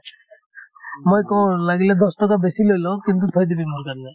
মই কও লাগিলে দহ টকা বেছি লৈ লওক কিন্তু থৈ দিবি মোৰ কাৰণে